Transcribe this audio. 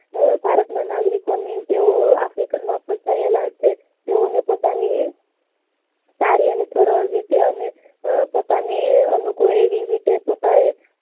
ભારત માં નાગરિકો ની તેવો ને પોતાની સારી અને સરળ રીતે અને પોતાનાને અનુકૂળ એવી રીતે પોતાએ